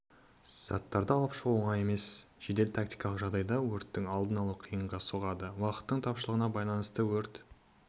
заттарды алып шығу оңай емес жедел-тактикалық жағдайда өрттің алдын-алу қиынға соғады уақыттың тапшылығына байланысты өрт